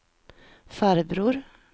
farbror